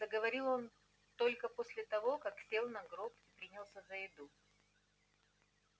заговорил он только после того как сел на гроб и принялся за еду